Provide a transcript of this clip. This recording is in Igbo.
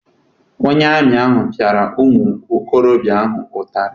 Onye amị ahụ piara ụmụ okorobịa ahụ ụtarị.